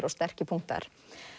og sterkir punktar